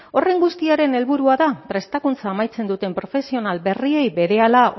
horren guztiaren helburua da prestakuntza amaitzen duten profesional berriei berehala